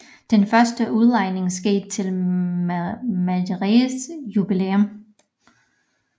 Den første udlejning skete til mejeriets jubilæum